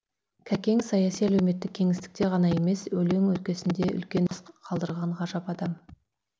кәкең саяси әлеуметтік кеңістікте ғана емес өлең өлкесінде үлкен із қалдырған ғажап адам